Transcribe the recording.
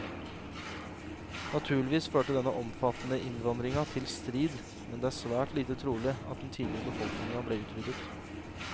Naturligvis førte denne omfattende innvandringa til strid, men det er svært lite trolig at den tidligere befolkninga ble utryddet.